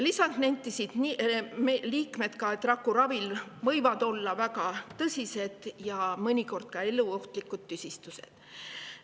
Lisaks nentisid liikmed, et rakuraviga võivad kaasneda väga tõsised ja mõnikord ka eluohtlikud tüsistused.